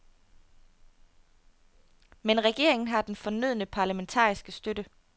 Men regeringen har den fornødne parlamentariske støtte.